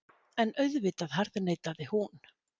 En auðvitað harðneitaði hún.